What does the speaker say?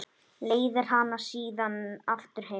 Leiðir hana síðan aftur heim.